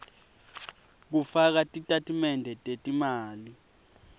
kufaka titatimende tetimali